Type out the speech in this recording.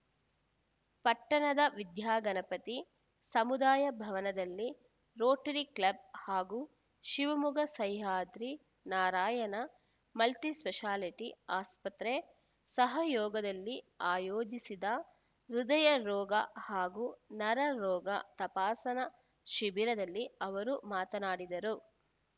ಪಟ್ಟಣದ ವಿದ್ಯಾಗಣಪತಿ ಸಮುದಾಯ ಭವನದಲ್ಲಿ ರೋಟರಿ ಕ್ಲಬ್‌ ಹಾಗೂ ಶಿವಮೊಗ್ಗ ಸಹ್ಯಾದ್ರಿ ನಾರಾಯಣ ಮಲ್ಟಿಸ್ಪೆಷಾಲಿಟಿ ಆಸ್ಪತ್ರೆ ಸಹಯೋಗದಲ್ಲಿ ಆಯೋಜಿಸಿದ ಹೃದಯರೋಗ ಹಾಗೂ ನರರೋಗ ತಪಾಸಣಾ ಶಿಬಿರದಲ್ಲಿ ಅವರು ಮಾತನಾಡಿದರು